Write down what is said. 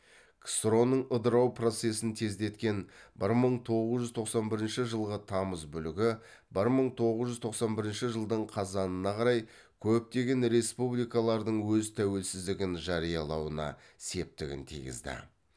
ксро ның ыдырау процессін тездеткен бір мың тоғыз жүз тоқсан бірінші жылғы тамыз бүлігі бір мың тоғыз жүз тоқсан бірінші жылдың қазанына қарай көптеген республикалардың өз тәуелсіздігін жариялауына септігін тигізді